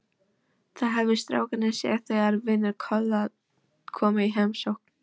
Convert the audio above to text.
Það höfðu strákarnir séð þegar vinir Tolla komu í heimsókn.